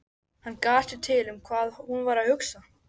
Hann gat sér til um hvað hún væri að hugsa.